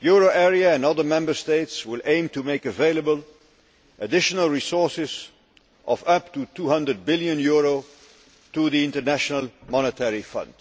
The euro area and other Member States will aim to make available additional resources of up to EUR 200 billion to the International Monetary Fund.